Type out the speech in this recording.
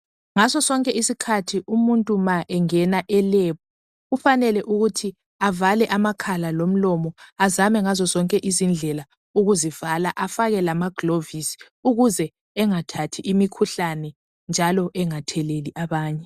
Ngaso sonke isikhathi umuntu ma engena elebhu kufanele ukuthi avale amakhala lomlolo azame ngazo zonke izindlela ukuzivala afake lamagilovisi ukuze engathathi imikhuhlane njalo engatheleli abanye.